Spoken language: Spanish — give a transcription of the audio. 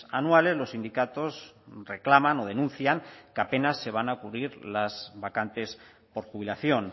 anuales los sindicatos reclaman o denuncian que apenas se van a cubrir las vacantes por jubilación